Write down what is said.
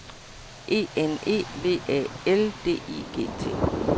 E N E V Æ L D I G T